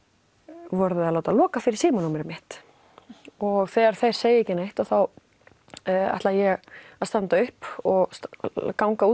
voruð þið að láta loka fyrir símanúmerið mitt og þegar þeir segja ekki neitt ætla ég að standa upp og ganga út